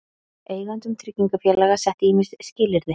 Eigendum tryggingafélaga sett ýmis skilyrði